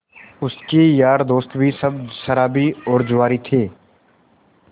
उसके यार दोस्त भी सब शराबी और जुआरी थे